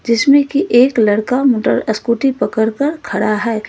इसमें की एक लड़का मोटर स्कूटी पकड़ कर खड़ा है।